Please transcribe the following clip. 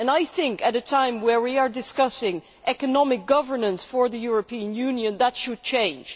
I think, at a time where we are discussing economic governance for the European Union, that should change.